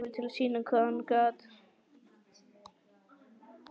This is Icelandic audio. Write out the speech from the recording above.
Fékk nú gullið tækifæri til að sýna hvað hann gat.